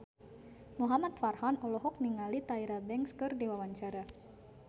Muhamad Farhan olohok ningali Tyra Banks keur diwawancara